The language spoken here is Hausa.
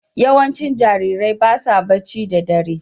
Yawancin jarirai ba sa barci da ɗare